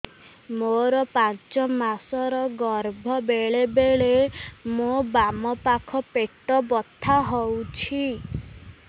ମୋର ପାଞ୍ଚ ମାସ ର ଗର୍ଭ ବେଳେ ବେଳେ ମୋ ବାମ ପାଖ ପେଟ ବଥା ହଉଛି